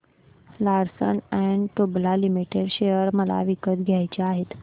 Larsen and टुर्बो limited share मला विकत घ्यायचे आहेत